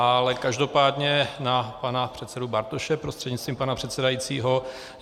Ale každopádně na pana předsedu Bartoše prostřednictvím pana předsedajícího.